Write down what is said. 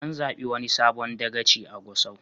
An zaɓi wani sabon dagaci a Gusau.